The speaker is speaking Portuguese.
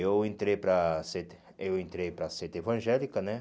Eu entrei para a sede eu entrei para sede evangélica, né?